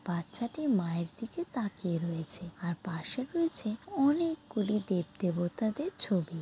বাচ্চাটি মায়ের দিকে তাকিয়ে রয়েছে আর পাশে রয়েছে অনেকগুলি দেব দেবতাদের ছবি।